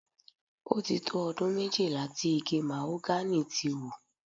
Ó ti tó ọdún méjìlá tí igi màhógánì ti wù.